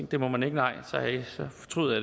det må man ikke nej så fortryder